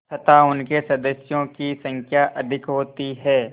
तथा उनके सदस्यों की संख्या अधिक होती है